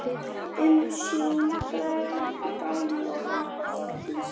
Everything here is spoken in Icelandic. Umsjón: Bragi og Helga Þórdís.